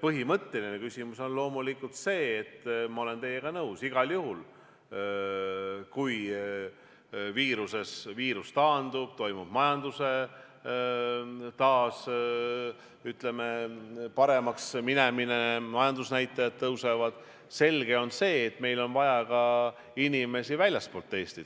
põhimõtteline küsimus on loomulikult see, ma olen teiega nõus, et igal juhul, kui viirus taandub ja toimub majanduse taas, ütleme, paremaks minemine, majandusnäitajad tõusevad, siis on selge, et meil on vaja ka inimesi väljastpoolt Eestit.